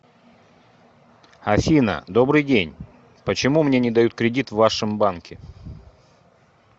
афина добрый день почему мне не дают кредит в вашем банке